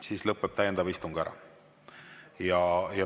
Siis lõpeb täiendav istung ära.